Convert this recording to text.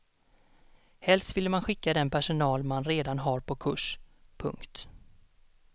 Helst vill man skicka den personal man redan har på kurs. punkt